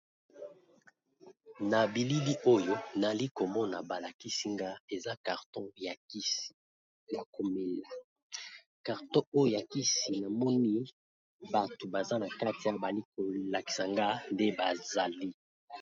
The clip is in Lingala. Na bilili oyo nali ko mona ba lakisi nga eza carton ya kisi ya ko mela . Carton oyo ya kisi na moni bato baza na kati , bali ko lakisa nga nde bazali .